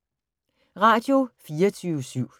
Radio24syv